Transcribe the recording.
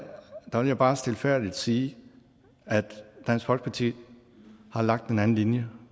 bare stilfærdigt sige at dansk folkeparti har lagt en anden linje